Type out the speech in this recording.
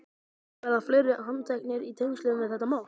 Og verða fleiri handteknir í tengslum við þetta mál?